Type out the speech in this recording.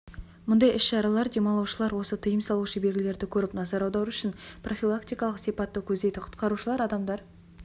мұндай іс-шаралар демалушылар осы тыйым салушы белгілерді көріп назар аудару үшін профилактикалық сипатты көздейді құтқарушылар адамдар